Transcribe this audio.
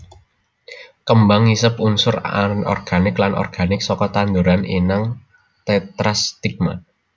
Kembang ngisep unsur anorganik lan organik saka tanduran inang Tetrastigma